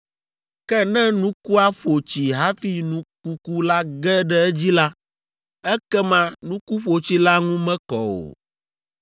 Ke ne nukua ƒo tsi hafi nu kuku la ge ɖe edzi la, ekema nuku ƒotsi la ŋu mekɔ o.